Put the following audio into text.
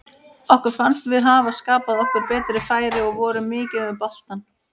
Okkur fannst við hafa skapað okkur betri færi og vorum mikið með boltann.